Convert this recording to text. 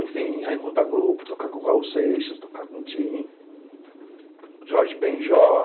Enfim, aí montar grupo, tocar com o Raul Seixas, tocar com o Tim, Jorge Ben jor.